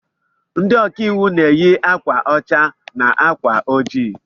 Ndị ọkàiwu na eyi akwa ọcha na ákwà ojii